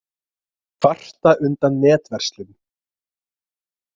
Kvarta undan netverslun